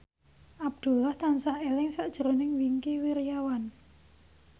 Abdullah tansah eling sakjroning Wingky Wiryawan